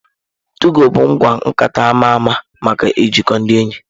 Tụgo bụ ngwa nkata ama ama maka ijikọ ndị enyi.